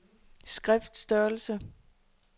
skriftstørrelse